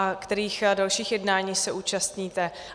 A kterých dalších jednání se účastníte?